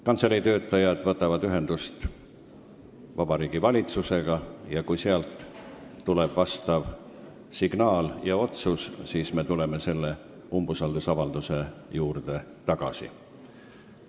Kantselei töötajad võtavad ühendust Vabariigi Valitsusega ja kui sealt tuleb vastav otsus, siis me tuleme umbusaldusavalduse juurde tagasi.